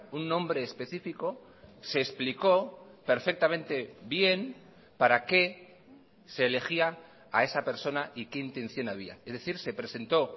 un nombre específico se explicó perfectamente bien para qué se elegía a esa persona y qué intención había es decir se presentó